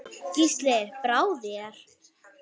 Gísli: Brá þér?